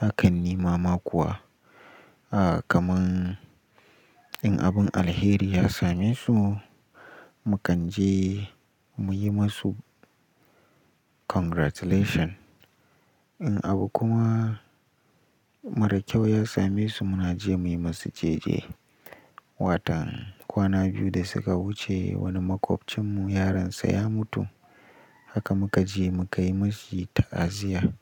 Hakan nima ma kuwa, a kaman in abun alheri ya same su, mu kan je mu yi masu congratulation. In abu kuma mara kyau ya same su muna je mu yi masu jeje. Watan kwana biyu da suka wuce wani maƙwabcinmu yaronsa ya mutu haka muka je muka yi mashi ta'aziyya.